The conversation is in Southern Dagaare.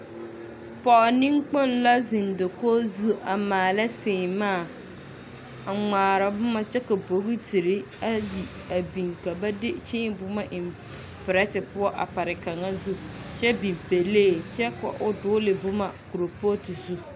pɔge neŋkpoŋ la zeŋ dakogi zu a maala seemaa a ŋmaara boma kyɛ ka boitiri ayi a biŋ ka ba de kyẽẽ boma eŋ perete poɔ a pare kaŋa zu kyɛ biŋ pelee kya ka o dogele boma a kerepooti zu.